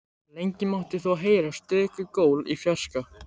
Lengi mátti þó heyra stöku gól í fjarska.